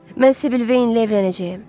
Mən Sibil Veynlə evlənəcəyəm.